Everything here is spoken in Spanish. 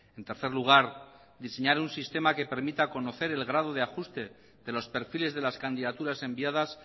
en tercer lugar diseñar un sistema que permita conocer el grado de ajuste de los perfiles de las candidaturas enviadas